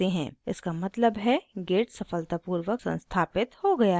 इसका मतलब है git सफलतापूर्वक संस्थापित हो गया है